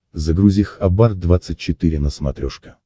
загрузи хабар двадцать четыре на смотрешке